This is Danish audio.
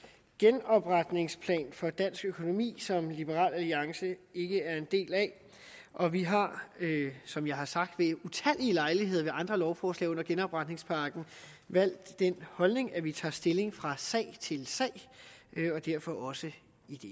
genopretningsplan for dansk økonomi som liberal alliance ikke er en del af og vi har som jeg har sagt ved utallige lejligheder ved andre lovforslag under genopretningspakken valgt den holdning at vi tager stilling fra sag til sag og derfor også